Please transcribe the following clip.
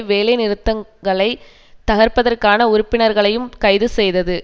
வேலைநிறுத்தங்களைத் தகர்ப்பதற்காக உறுப்பினர்களையும் கைதுசெய்தது